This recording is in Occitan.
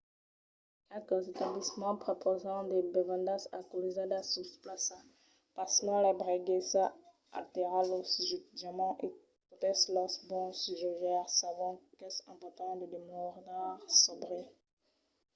qualques establiments prepausan de bevendas alcoolizadas sus plaça. pasmens l'ebriaguesa altèra lo jutjament e totes los bons jogaires sabon qu'es important de demorar sòbri